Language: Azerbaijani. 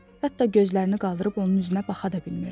Hətta gözlərini qaldırıb onun üzünə baxa da bilmirdi.